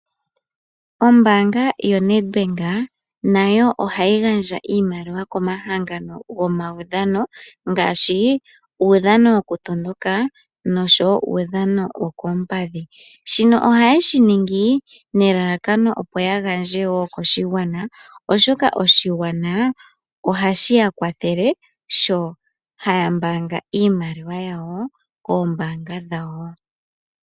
Ombanga yoNedbank nayo ohayi gandja iimaliwa komahangano gomaudhano. Ngaashi uudhano woku tondoka noshowo uudhano wokoompadhi. Shino oha yeshi ningi nelalakano opo ya gandje wo koshigwana. Oshoka oshigwana ohashi ya kwathele sho haya mbaanga iimaliwa yawo koombanga dhawo.